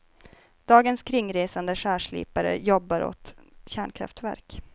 Dagens kringresande skärslipare jobbar åt kärnkraftverk.